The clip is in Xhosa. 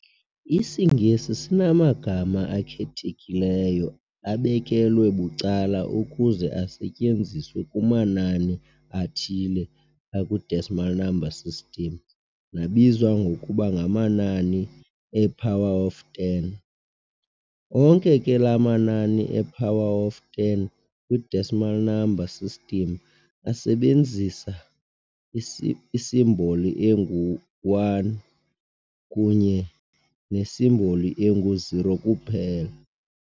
IsiNgesi sinamagama akhethekileyo abekelwe bucala ukuze asetyenziswe kumanani athile akwi-decimal number system nabizwa ngokuba ngamanani e--"power of ten". onke ke laa manani e-power of ten kwi-decimal number system asebenzisa isimboli engu-"1" kunye nesimboli engu-"0" kuphela.